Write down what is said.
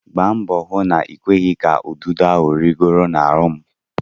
Gba mbọ hụ na-ịkweghị ka ududo ahụ rịgoro n'ahụ m!